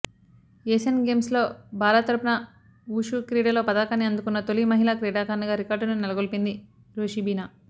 Asian గేమ్స్లో భారత్ తరపున wushu క్రీడలో పతకాన్ని అందుకున్న తొలి మహిళా క్రీడాకారిణిగా రికార్డును నెలకొల్పింది రోషిబినా